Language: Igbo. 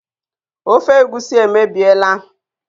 Ofe egusi emebiela